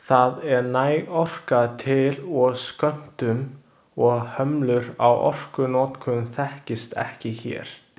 Það er næg orka til og skömmtun og hömlur á orkunotkun þekkist ekki hér.